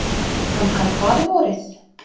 Hann kann faðirvorið.